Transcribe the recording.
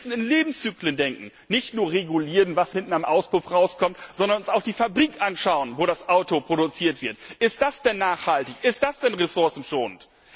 Wir müssen in Lebenszyklen denken nicht nur regulieren, was hinten am Auspuff herauskommt, sondern uns auch die Fabrik anschauen, wo das Auto produziert wird. Ist das denn nachhaltig, ist das denn ressourcenschonend?